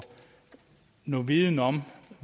noget viden om